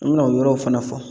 An bɛna o yɔrɔw fana fɔ